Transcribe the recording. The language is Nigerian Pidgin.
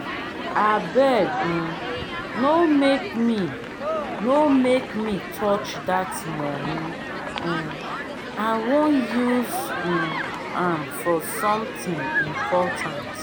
abeg um no make me no make me touch dat money um i wan use um am for something important